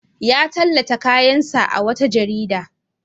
Ya tallata kayansa a wata jarida.